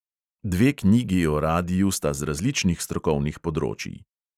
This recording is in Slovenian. Dve knjigi o radiu sta z različnih strokovnih področij.